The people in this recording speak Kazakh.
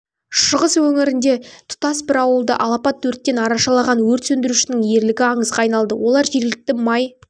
шығыс өңірде тұтас бір ауылды алапат өрттен арашалаған өрт сөндірушінің ерлігі аңызға айналды олар жергілікті май